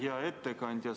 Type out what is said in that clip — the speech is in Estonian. Hea ettekandja!